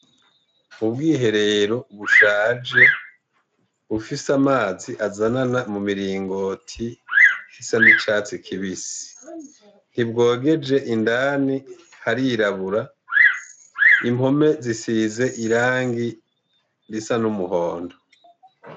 Ubwihe rero ubushaje bufise amazi azanana mu miringoti hisa n'icatsi kibisi ntibwogeje indani harirabura, impome zisize irangi risa n'umuhondo.